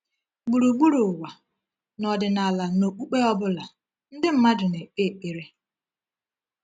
Gburugburu ụwa, n’ọdịnala na okpukpe ọ bụla, ndị mmadụ na-ekpe ekpere.